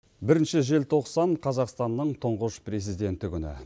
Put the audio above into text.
бірінші желтоқсан қазақстанның тұнғыш президенті күні